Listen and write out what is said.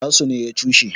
nasu ne ya cushe